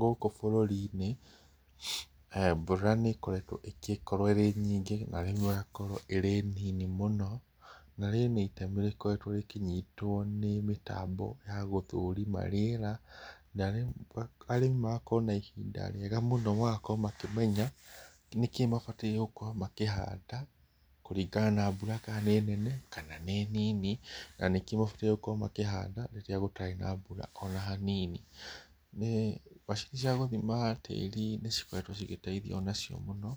Gũkũ bũrũri-inĩ mbura nĩkoretwo ĩrĩ nyingĩ na rĩmwe ĩgakorwo ĩrĩ nini mũno, na rĩrĩ nĩ itemi rĩkoretwo rĩkĩnyitwo nĩ mĩtambo ya gũthũrima rĩera, na arĩmi magakorwo na ihinda rĩega mũno magakorwo makĩmenya nĩkĩ mabatire gũkorwo makĩhanda kũringana na mbura kana nĩ nene, kana nĩ nini, na nĩkĩ mabatire gũkorwo makĩhanda rĩrĩa gũtarĩ na mbura ona hanini. Macini cia gũthima tĩri nĩcikoretwo cigĩteithia onacio mũno,